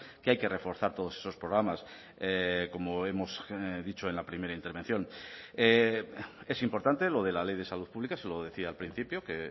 que hay que reforzar todos esos programas como hemos dicho en la primera intervención es importante lo de la ley de salud pública se lo decía al principio que